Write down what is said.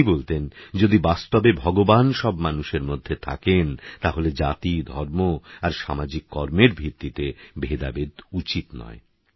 তিনিবলতেনযদিবাস্তবেভগবানসবমানুষেরমধ্যেথাকেনতাহলেজাতি ধর্মআরসামাজিককর্মেরভিত্তিতেভেদাভেদউচিৎনয়